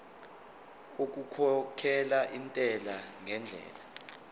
okukhokhela intela ngendlela